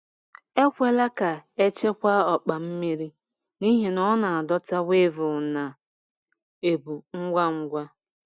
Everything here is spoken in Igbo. Ekwela ka a chekwaa ọkpa mmiri, n’ihi na ọ na-adọta weevil na ebu ngwa ngwa.